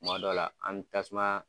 Kuma dɔ la an bɛ tasuma